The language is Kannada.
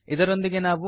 ಇದರೊಂದಿಗೆ ನಾವು